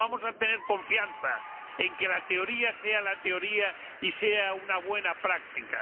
No, vamos a tener confianza en que la teoría sea la teoría y sea una buena práctica.